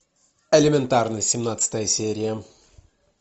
элементарно семнадцатая серия